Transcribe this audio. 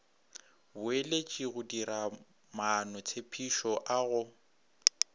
boeletši go diramaanotshepetšo a go